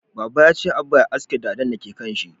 Baba ya ce Abba ya haske dadan da ke kanshi